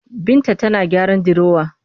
Binta tana gyaran dirowa